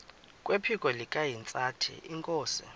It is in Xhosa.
kwephiko likahintsathi inkosi